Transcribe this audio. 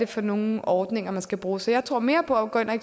for nogen ordninger man skal bruge så jeg tror mere på at gå ind at